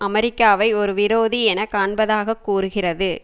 அமெரிக்காவை ஒரு விரோதி என காண்பதாக கூறுகிறது